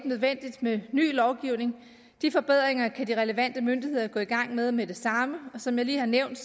nødvendigt med ny lovgivning de forbedringer kan de relevante myndigheder gå i gang med med det samme som jeg lige har nævnt